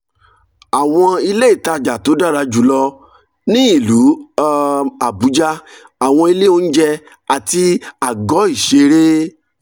àwọn ilé ìtajà tó dára jù lọ ní ìlú um abuja àwọn ilé oúnjẹ àti àgọ́ ìṣeré